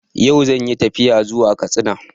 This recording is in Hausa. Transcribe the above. Yau zan yi tafiya zuwa Katsina